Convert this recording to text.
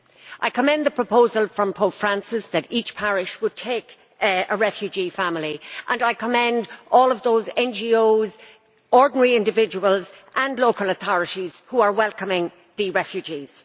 I commend the proposal from Pope Francis that each parish take in a refugee family and I commend all of those NGOs, ordinary individuals and local authorities who are welcoming the refugees.